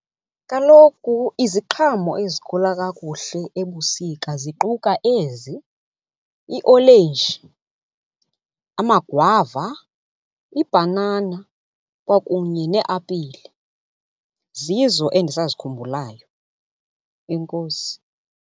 Kaloku iziqhamo ezikhula kakuhle ebusika ziquka ezi, iolenji, amagwava, ibhanana kwakunye neapile. Zizo endisazikhumbulayo. Enkosi.